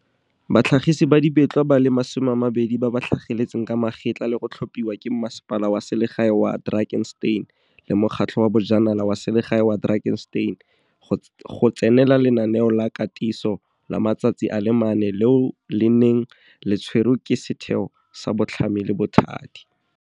batlhagisi ba dibetlwa ba le 20 ba ba tlhageletseng ka magetla le go tlhopiwa ke Mmasepala wa Selegae wa Drakenstein le Mokgatlho wa Bojanala wa Selegae wa Drakenstein, DLTA, go tsenela lenaneo la katiso la matsatsi a le mane leo le neng le tshwerwe ke Setheo sa Botlhami le Bothadi, CDI.